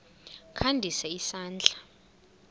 kha ndise isandla